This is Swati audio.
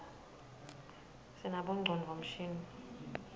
sinabonqcondvo mshini